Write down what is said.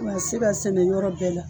O ka se k'a sɛnɛ yɔrɔ bɛɛ la.